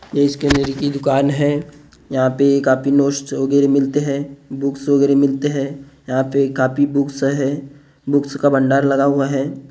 यह इसकी दुकान है यहाँ पर काफी नोट्स वगैरह मिलते हैं बुक्स वगैरह मिलते हैं यहाँ पर काफी बुक्स हैं बुक्स का भंडार लगा हुआ है ।